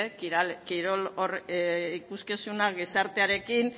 gizartearekin